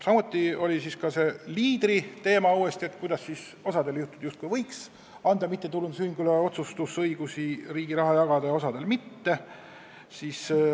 Samuti tuli uuesti üles see Leaderi teema, et kuidas siis osal juhtudel justkui võib anda mittetulundusühingule otsustusõiguse riigi raha jagada ja osal juhtudel mitte.